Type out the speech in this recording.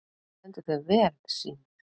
Þú stendur þig vel, Sírnir!